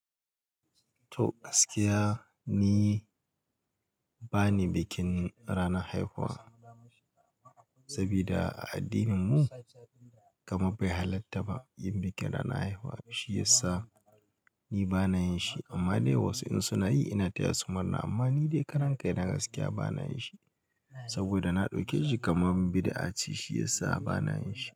To gaskiya ni bani bikin ranan haihuwa. Sabida a addinin mu kamar bai halatta ba yin bikin ranan haihuwa shiyasa ni bana yin shi amma dai wasu in suna yi ina taya su murna amma ni dai karan kai na gaskiya bana yin shi saboda na ɗauke shi kaman bidi, a ce shi yasa ba nayin shi.